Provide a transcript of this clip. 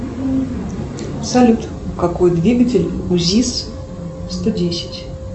салют какой двигатель у зис сто десять